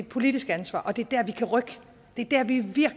politisk ansvar og det er der vi kan rykke